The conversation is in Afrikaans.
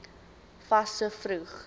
fas so vroeg